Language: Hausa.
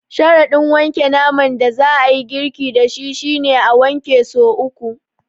Sharaɗin wanke naman da za a yi girki da shi shi ne, a wanke so uku.